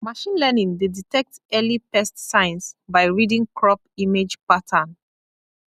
machine learning dey detect early pest signs by reading crop image pattern